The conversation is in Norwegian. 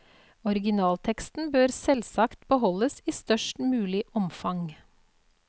Originalteksten bør selvsagt beholdes i størst mulig omfang.